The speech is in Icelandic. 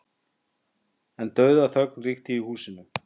En dauðaþögn ríkti í húsinu.